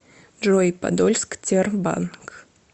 джой подольск тербанк